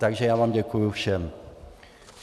Takže já vám děkuji všem.